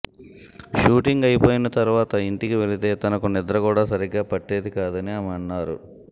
shooting అయిపోయిన తరువాత ఇంటికి వెళితే తనకు నిద్ర కూడా సరిగ్గా పట్టేది కాదని ఆమె అన్నారు